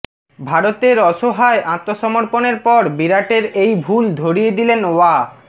ভারতের অসহায় আত্মসমর্পণের পর বিরাটের এই ভুল ধরিয়ে দিলেন ওয়া